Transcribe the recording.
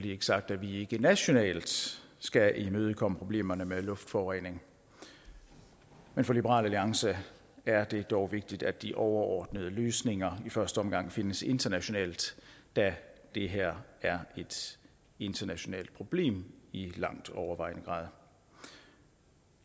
ikke sagt at vi ikke nationalt skal imødekomme problemerne med luftforurening men for liberal alliance er det dog vigtigt at de overordnede løsninger i første omgang findes internationalt da det her er et internationalt problem i langt overvejende grad